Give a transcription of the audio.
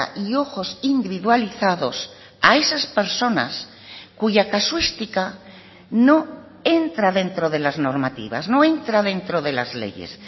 y ojos individualizados a esas personas cuya casuística no entra dentro de las normativas no entra dentro de las leyes